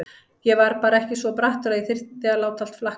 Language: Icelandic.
Ég var bara ekki svo brattur að ég þyrði að láta allt flakka.